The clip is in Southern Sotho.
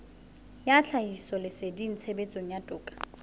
ya tlhahisoleseding tshebetsong ya toka